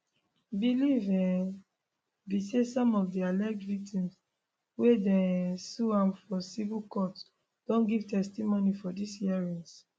belief um be say some of di alleged victims wey dey um sue am for civil courts don give testimony for dis hearings